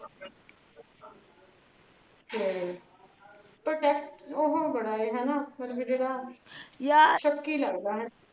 ਫੇਰ ਪਰ ਯਾਰ ਓਹੋ ਬੜਾ ਆ ਹਨਾ ਸ਼ੱਕੀ ਲੱਗਦਾ।